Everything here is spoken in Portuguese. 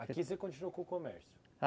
Aqui você continuou com o comércio?